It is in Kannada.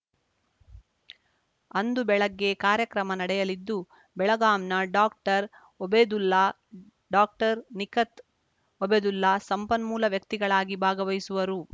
ಅಂದು ಬೆಳಗ್ಗೆ ಕಾರ್ಯಕ್ರಮ ನಡೆಯಲಿದ್ದು ಬೆಳಗಾಂನ ಡಾಕ್ಟರ್ಒಬೇದುಲ್ಲಾ ಡಾಕ್ಟರ್ನಿಖತ್‌ ಒಬೇದುಲ್ಲಾ ಸಂಪನ್ಮೂಲ ವ್ಯಕ್ತಿಗಳಾಗಿ ಭಾಗವಹಿಸುವರು